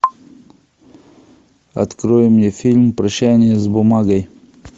открой мне фильм прощание с бумагой